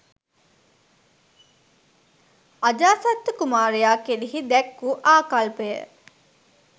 අජාසත්ත කුමාරයා කෙරෙහි දැක් වූ ආකල්පය